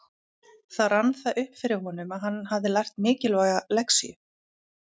Þá rann það upp fyrir honum að hann hafði lært mikilvæga lexíu.